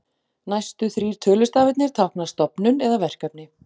Næstu þrír tölustafirnir tákna stofnun eða verkefni.